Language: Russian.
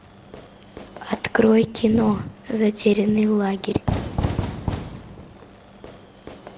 открой кино затерянный лагерь